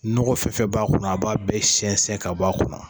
Nɔgɔ fɛn o fɛn b'a kɔnɔ, a b'a bɛ sɛnsɛn ka bɔ a kɔnɔ.